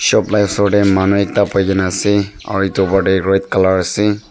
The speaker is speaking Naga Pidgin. shop la osor tae manu ekta bhuina ase aru edu opor tae red colour ase.